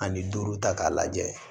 Ani duuru ta k'a lajɛ